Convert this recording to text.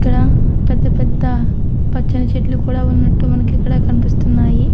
ఇక్కడా పెద్ద పెద్ద పచ్చని చెట్లు కూడా ఉన్నట్టు మనకిక్కడా కనిపిస్తున్నాయి.